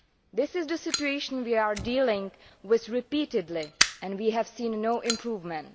This is the situation we are dealing with repeatedly, and we have seen no improvement.